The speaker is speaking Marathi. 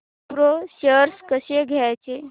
विप्रो शेअर्स कसे घ्यायचे